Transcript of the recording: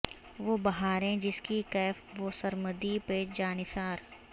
وہ بہاریں جس کی کیف و سرمدی پہ جانثار